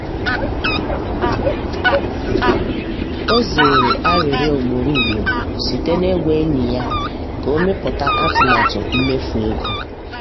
ọ zere arịrịọ ugboro ugboro site n’ịgwa enyi ya ka ọ mepụta atụmatụ mmefu ego.